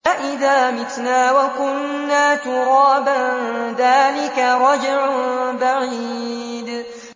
أَإِذَا مِتْنَا وَكُنَّا تُرَابًا ۖ ذَٰلِكَ رَجْعٌ بَعِيدٌ